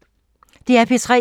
DR P3